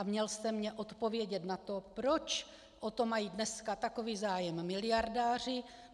A měl jste mně odpovědět na to, proč o to mají dneska takový zájem miliardáři.